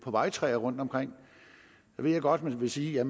vejtræer rundtomkring nu ved jeg godt at man vil sige at